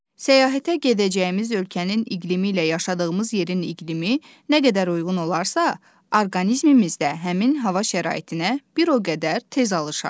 Səyahətə gedəcəyimiz ölkənin iqlimi ilə yaşadığımız yerin iqlimi nə qədər uyğun olarsa, orqanizmimiz də həmin hava şəraitinə bir o qədər tez alışar.